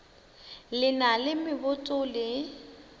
le na le meboto le